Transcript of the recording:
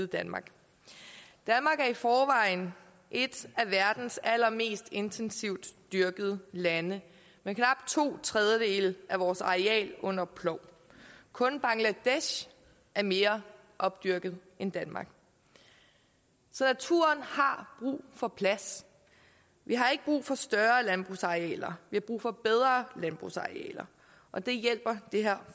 danmark er i forvejen et af verdens allermest intensivt dyrkede lande med knap to tredjedele af vores areal under plov kun bangladesh er mere opdyrket end danmark så naturen har brug for plads vi har ikke brug for større landbrugsarealer vi har brug for bedre landbrugsarealer og det hjælper det her